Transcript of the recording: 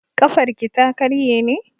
Ƙafarki ta karye ne?